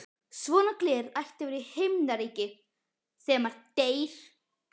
Svona gler ætti að vera í Himnaríki þegar maður deyr.